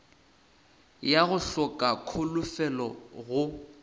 ya go hloka kholofelo go